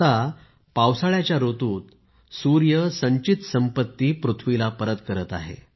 आता पावसाळ्याच्या ऋतूत सूर्य संचित संपत्ती पृथ्वीला परत करत आहे